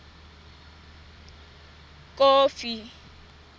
kofi